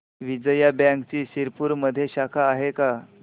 विजया बँकची शिरपूरमध्ये शाखा आहे का